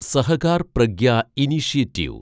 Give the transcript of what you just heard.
Sahakar Pragya initiative